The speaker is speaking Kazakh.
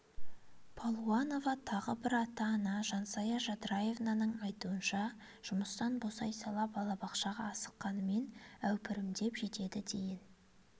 палуанова тағы бір ата-ана жансая жадраеваның айтуынша жұмыстан босай сала балабақшаға асыққанымен әупірімдеп жетеді дейін